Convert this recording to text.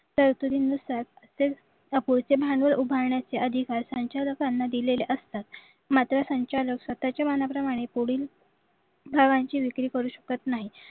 सरासरी नुसार भांडवल उभारण्याच्या अधिकार संचालकांना दिलेल्या असतात मात्र संचालक स्वतःच्या मनाप्रमाणे पुढील भागांची विक्री करू शकत नाही